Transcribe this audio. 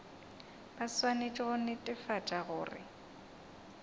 ba swanetše go netefatša gore